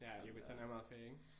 Ja Yucatán er meget ferie ik?